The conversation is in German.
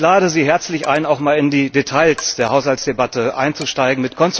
Ich lade Sie herzlich ein, auch einmal in die Details der Haushaltsdebatte einzusteigen.